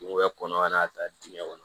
Kungo bɛ kɔnɔ ka n'a ta digɛn kɔnɔ